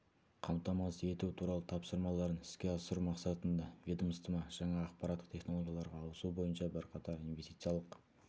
қамтамасыз ету туралы тапсырмаларын іске асыру мақсатында ведомство жаңа ақпараттық технологияларға ауысу бойынша бірқатар инвестициялық